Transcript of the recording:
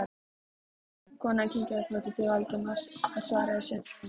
Konan kinkaði kolli til Valdimars, hann svaraði í sömu mynt.